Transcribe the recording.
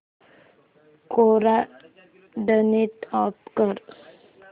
कोरा turn off कर